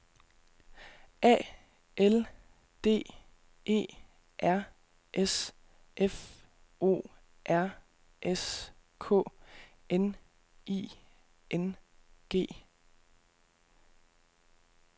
A L D E R S F O R S K N I N G